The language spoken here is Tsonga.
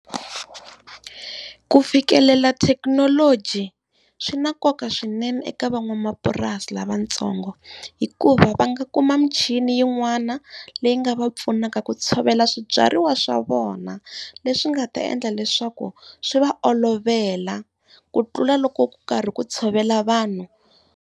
Ku fikelela thekinoloji swi na nkoka swinene eka van'wamapurasi lavatsongo, hikuva va nga kuma michini yin'wana leyi nga va pfunaka ku tshovela swibyariwa swa vona, leswi nga ta endla leswaku swi va olovela ku tlula loko ku karhi ku tshovela vanhu.